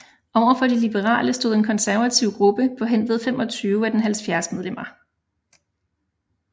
Overfor de liberale stod en konservativ gruppe på henved 25 af dens 70 medlemmer